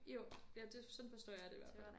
Jo ja det sådan forstår jeg det i hvert fald